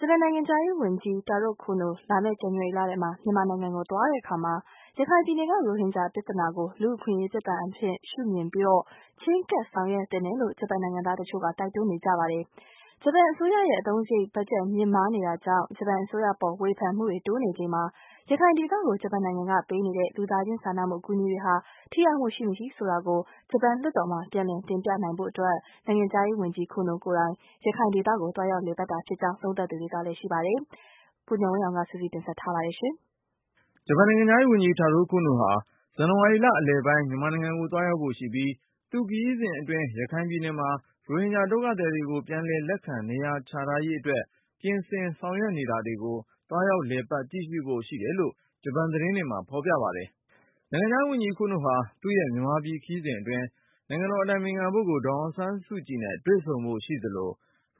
ဂျပန်နိုင်ငံခြားရေးဝန်ကြီး Taro Kono လာမယ့် ဇန်နဝါရီလထဲ မြန်မာနိုင်ငံကိုသွားတဲ့အခါ ရခိုင်ပြည်နယ်က ရိုဟင်ဂျာပြဿနာကို လူ့အခွင့်အရေးပြဿနာအဖြစ် ရှုမြင်ပြီး၊ ချည်းကပ် ဆောင်ရွက်သင့်တယ်လို့ ဂျပန်နိုင်ငံသားတချို့က တိုက်တွန်းနေပါတယ်။ ဂျပန်အစိုးရရဲ့ အသုံးစားရိတ်ဘတ်ဂျက် မြင့်မားနေတာကြောင့် ဂျပန်အစိုးရပေါ်ဝေဖန်မှုတွေ တိုးနေချိန်မှာ ရခိုင်ဒေသကို ဂျပန်နိုင်ငံကပေးနေတဲ့ လူသားချင်း စာနာမှု အကူအညီတွေဟာ ထိရောက်မှု ရှိမရှိဆိုတာကို ဂျပန်လွှတ်တော်မှာ ပြန်လည်တင်ပြနိုင်ဖို့ နိုင်ငံခြားရေးဝန်ကြီး Kono ကိုယ်တိုင် ရခိုင်ဒေသကို သွားရောက်လည်ပတ်တာဖြစ်ကြောင်း သုံးသပ်သူတွေလည်းရှိပါတယ်။ ကိုဉာဏ်ဝင်းအောင်က စုစည်းတင်ပြထားပါတယ်။ ဂျပန်နိုင်ငံခြားရေးဝန်ကြီး Taro Kono ဟာ ဇန်နဝါရီလအလယ်ပိုင်း မြန်မာနိုင်ငံကို သွားရောက်ဖို့ရှိပြီး သူ့ခရီးစဉ်အတွင်း ရခိုင်ပြည်နယ်မှာ ရိုဟင်ဂျာဒုက္ခသည်တွေကို ပြန်လည်လက်ခံ နေရာချထားရေးအတွက် ပြင်ဆင်တည်ဆောက် နေတာတွေကို သွားရောက်လည်ပတ် ကြည့်ရှုဖို့ ရှိတယ်လို့ ဂျပန်သတင်းတွေမှာ ဖေါ်ပြပါတယ်။ နိုင်ငံခြားရေးဝန်ကြီး Kono ဟာ သူ့ရဲ့မြန်မာပြည်ခရီးစဉ်အတွင်း နိုင်ငံတော်အတိုင် ပင်ခံပုဂ္ဂိုလ် ဒေါ်အောင်ဆန်းစုကြည်နဲ့ တွေ့ဆုံဖို့ရှိသလို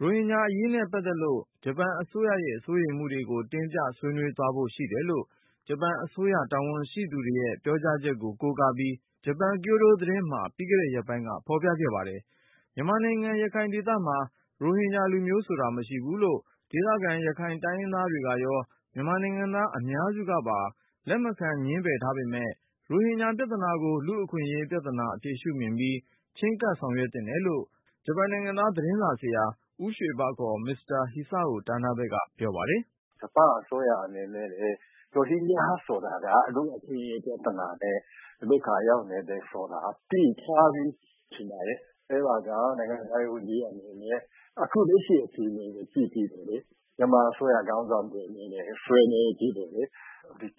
၊ ရိုဟင်ဂျာအရေးနဲ့ ပတ်သက်လို့ ဂျပန်အစိုးရရဲ့ စိုးရိမ်မှုကို တင်ပြဆွေးနွေးသွားဖို့ ရှိတယ်လို့ ဂျပန်အစိုးရ တာဝန်ရှိသူတွေရဲ့ ပြောကြားချက်ကို ကိုးကားပြီး ကျိုဒိုသတင်းမှာ ပြီးခဲ့တဲ့ရက်ပိုင်းက ဖော်ပြခဲ့ပါတယ်။ မြန်မာနိုင်ငံ ရခိုင်ဒေသမှာ ရိုဟင်ဂျာလူမျိုးဆိုတာ မရှိဘူးလို့ ဒေသခံ ရခိုင်တိုင်းရင်းသားတွေကရော မြန်မာနိုင်ငံသားအများစုကပါ လက်မခံ ငြင်းပယ်ထားပေမယ့် ရိုဟင်ဂျာပြဿနာကို လူ့အခွင့်အရေးပြဿနာအဖြစ် ရှုမြင်ပြီး၊ ချည်းကပ် ဆောင်ရွက်သင့်တယ်လို့ ဂျပန်နိုင်ငံသား သတင်းစာဆရာ ဦးရွှေဘ မစ္စတာ Hisao Tanabe က ပြောပါတယ်။ "ဂျပန်အစိုးရအနေနဲ့ကလည်း ရိုဟင်ဂျာဆိုတာက လူ့အခွင့်အရေးပြဿနာနဲ့ ဒုက္ခရောက်နေတယ်ဆိုတာ သိထားပြီးထင်ပါတယ်။ အဲဒါကြောင့် နိုင်ငံခြားရေး ဝန်ကြီးအနေနဲ့ အခု လက်ရှိအခြေအနေကို ကြည့်ပြီးတော့လေ မြန်မာအစိုးရ ခေါင်းဆောင်တွေနဲ့ ဆွေးနွေးပြီးတော့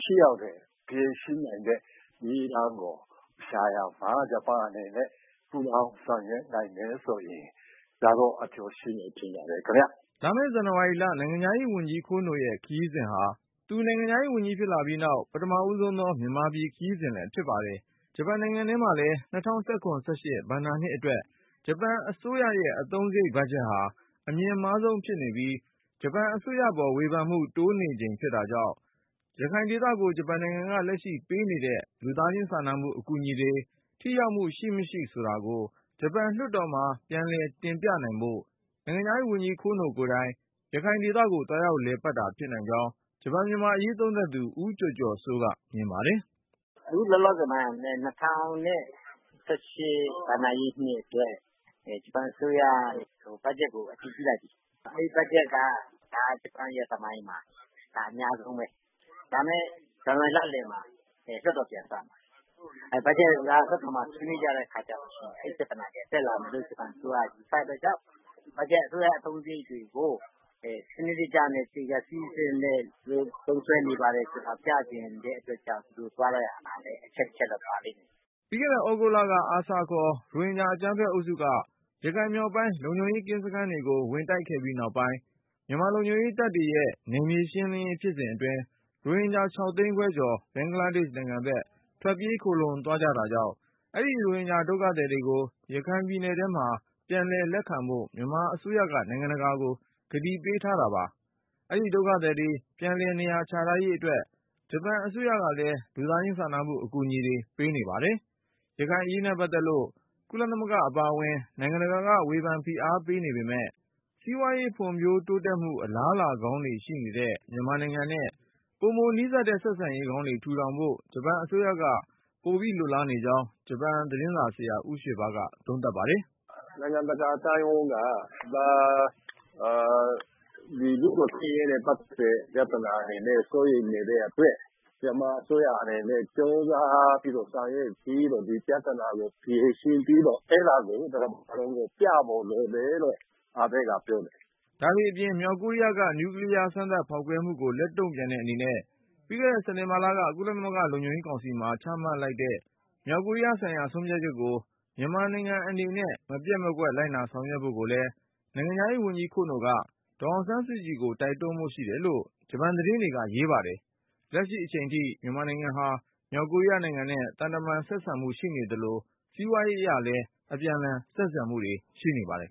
ထိရောက်တဲ့ ဖြေရှင်းနိုင်တဲ့ နည်းလမ်းကိုရှာရာမှာ ဂျပန်အနေနဲ့ ပူးပေါင်းဆောင်ရွက်နိုင်မယ်ဆိုရင် ဒါကတော့ အကျိုးရှိမယ်လို့ ထင်ပါတယ်ခင်ဗျ။" လာမယ့်ဇန်နဝါရီလ နိုင်ငံခြားရေးဝန်ကြီး Kono ရဲ့ခရီးစဉ်ဟာ သူနိုင်ငံခြားရေးဝန်ကြီးဖြစ်လာပြီးနောက် ပထမဦးဆုံးသော မြန်မာပြည်ခရီးစဉ်လဲ ဖြစ်ပါတယ်။ ဂျပန်နိုင်ငံထဲမှာလည်း ၂၀၁၇-၁၈ ဘဏ္ဍာနှစ်အတွက် ဂျပန်အစိုးရရဲ့ အသုံးစားရိတ်ဘတ်ဂျက်ဟာ အမြင့်မားဆုံးဖြစ်နေပြီး၊ ဂျပန် အစိုးရပေါ်ဝေဖန်မှု တိုးနေချိန်ဖြစ်တာကြောင့် ရခိုင်ဒေသကို ဂျပန်နိုင်ငံက လက်ရှိပေးနေတဲ့ လူသားချင်းစာနာမှု အကူအညီတွေ ထိရောက်မှု ရှိမရှိဆိုတာကို ဂျပန်လွှတ်တော်မှာ ပြန်လည်တင်ပြနိုင်ဖို့ နိုင်ငံခြားရေးဝန်ကြီး Kono ကိုယ်တိုင် ရခိုင်ဒေသကို သွားရောက်လည်ပတ်တာ ဖြစ်နိုင်ကြောင်း ဂျပန်မြန်မာအရေး သုံးသပ်သူ ဦးကျော်ကျော်စိုးက မြင်ပါတယ်။ "အခုလောလောဆယ်မှာက ၂၀၁၈ ဘဏ္ဍာရေးနှစ်အတွက် ဂျပန်အစိုးရက ဘတ်ဂျက်ကို အတည်ပြုလိုက်ပြီ။ အဲဒီဘတ်ဂျက်က ဂျပန်ရဲ့သမိုင်းမှာ အများဆုံးပဲ။ ဒါပေမယ့် ဇန်နဝါရီလလည်မှာ လွှတ်တော်ပြန်စမယ်။ ဘတ်ဂျက်ကိစ္စ လွှတ်တော်မှာ ဆွေးနွေးကြတဲ့ အခါကျရင် အဲဒီပြဿနာ ပြန်တက်လာမယ်လို့ ဂျပန်အစိုးရက ယူဆတဲ့အတွက်ကြောင့် ဘတ်ဂျက် အစိုးရအသုံးစားရိတ်တွေကို စနစ်တကျနဲ့ သေချာ စည်းစနစ်နဲ့ သူတို့သုံးစွဲနေပါတယ်ဆိုတာ ပြချင်တဲ့အတွက်ကြောင့် သူ ဒီလိုသွားရတာက အချက်တချက် အနေနဲ့ ပါလိမ့်မယ်ထင်တယ်။" ပြီးခဲ့တဲ့သြဂုတ်လ ARSA ခေါ် ရိုဟင်ဂျာအကြမ်းဖက်အုပ်စုက ရခိုင်မြောက်ပိုင်း လုံခြုံရေးကင်းစခန်းတွေကို ဝင်တိုက်ခဲ့ပြီးနောက်ပိုင်း မြန်မာ လုံခြုံရေးတပ်ဖွဲ့ရဲ့ နယ်မြေရှင်းလင်းရေး ဖြစ်စဉ်အတွင်း ရိုဟင်ဂျာ ၆ သိန်းခွဲကျော် ဘင်္ဂလားဒေ့ရှ်ဘက် ထွက်ပြေး ခိုလှုံသွားတာကြောင့် အဲဒီ ရိုဟင်ဂျာဒုက္ခသည်တွေကို ရခိုင်ပြည်နယ်ထဲမှာ ပြန်လည်လက်ခံဖို့ မြန်မာအစိုးရက နိုင်ငံတကာကို ကတိပေးထားတာပါ။ အဲဒီဒုက္ခသည်တွေ ပြန်လည်နေရာချထားရေးအတွက် ဂျပန်အစိုးရကလည်း လူသားချင်းစာနာမှု အကူအညီတွေပေးနေပါတယ်။ ရခိုင်အရေးနဲ့ ပတ်သက်လို့ ကုလသမဂ္ဂအပါအဝင် နိုင်ငံတကာက ဝေဖန်ဖိအားပေးနေပေမယ့် စီးပွားရေး ဖွံ့ဖြိုးတိုးတက်မှု အလားအလာကောင်းတွေရှိနေတဲ့ မြန်မာနိုင်ငံနဲ့ ပိုနီးစပ်တဲ့ ဆက်ဆံရေးကောင်းတွေ ထူထောင်ဖို့ ဂျပန်အစိုးရက ပိုလိုလားနေကြောင်း ဂျပန်သတင်းစာဆရာ ဦးရွှေဘက သုံးသပ်ပါတယ်။ "နိုင်ငံတကာအသိုင်းအဝိုင်းက ဒါကို လူ့အခွင့်အရေးနဲ့ ပတ်သက်တဲ့ ပြဿနာ အနေနဲ့ စိုးရိမ်နေတဲ့အတွက် မြန်မာအစိုးရအနေနဲ့ ကြိုးစားပြီးတော့ ဆောင်ရွက်ပြီးတော့ ဒီပြဿနာကို ဖြေရှင်းပြီးတော့ အဲဒါကို တကမ္ဘာလုံးကို ပြဖို့လိုတယ်လို့ အာဘေ့ကပြောတယ်။" ဒါတွေအပြင် မြောက်ကိုရီးယားက နျူကလီးယား စမ်းသပ်ဖောက်ခွဲမှုကို လက်တုံ့ပြန်တဲ့အနေနဲ့ ပြီးခဲ့တဲ့ စက်တင်ဘာလက ကုလလုံခြုံရေး ကောင်စီမှာ ချမှတ်လိုက်တဲ့ မြောက်ကိုရီးယားဆိုင်ရာ ဆုံးဖြတ်ချက်ကို မြန်မာနိုင်ငံ အနေနဲ့ မပျက်မကွက် လိုက်နာဆောင်ရွက်ဖို့ကိုလည်း နိုင်ငံခြားရေးဝန်ကြီး Kono က ဒေါ်အောင်ဆန်းစုကြည်ကို တိုက်တွန်းဖို့ရှိတယ်လို့ ဂျပန်သတင်းတွေက ရေးပါတယ်။ လက်ရှိအချိန်ထိ မြန်မာနိုင်ငံဟာ မြောက်ကိုရီးယားနိုင်ငံနဲ့ သံတမန် ဆက်ဆံရေးရှိသလို စီးပွားရေးအရလည်း အပြန်အလှန် ဆက်ဆံမှုတွေ ရှိနေပါတယ်